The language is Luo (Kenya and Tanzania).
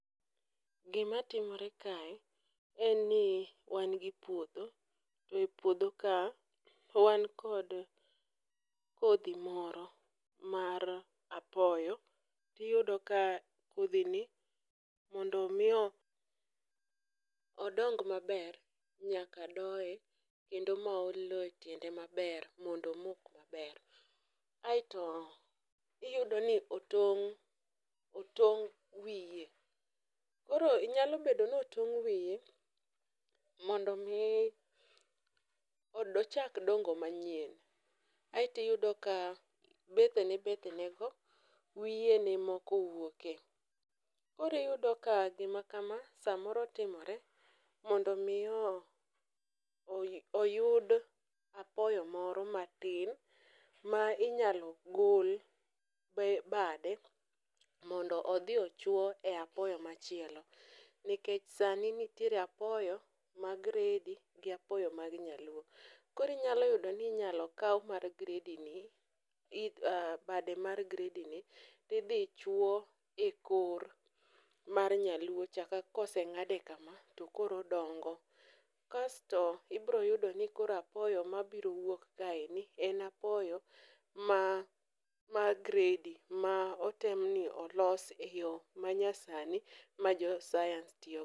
Gimatimore kae en ni wan gi puodho to e puodho ka wan kod kodhi moro mar apoyo, tiyudo ka kodhini mondo omi odong maber, nyaka doye kendo ma ol lowo e tiende maber mondo omok maber, aeto iyudo ni otong' wiye, koro nyalo bedo notong' wiye mondo omi ochak dongo manyien, aeto iyudo ka bethene bethene wiye ne moko wuoke, koro iyudo ka gima kama samoro timore mondo omi oyud apoyo moro matin ma inyalo gol bade, mondo odhi ochwe e apoyo machielo nikech sani nitiere apoyo mag gredi gi apoyo mag nyaluo, koro inyalo yudoni inyalo kaw mar gredini, bade mar gredini, tidhi chuwo e kor mar nyaluocha koseng'ade kama tokoro odongo. Kasto ibiro yudo ni koro apoyo mabiro wuok kaeni en apoyo ma gredi ma otemni olos e yo manyasani ma jo sayans tiyogo.